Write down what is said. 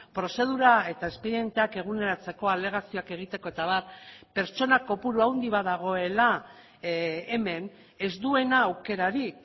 prozedura eta espedienteak eguneratzeko alegazioak egiteko eta abar pertsona kopuru handi bat dagoela hemen ez duena aukerarik